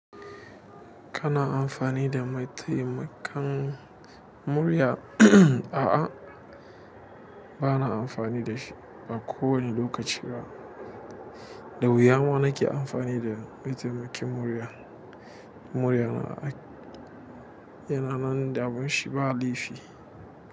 Kana amfani da mai taimakan murya? Uhm uhmmm. A'a, ba na amfani da shi ba kowani lokaci ba. Da wuya ma na ke amfani da mai taimakin murya. Murya yana nan da abunshi ba laifi.